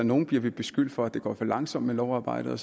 nogle bliver vi beskyldt for at det går for langsomt med lovarbejdet og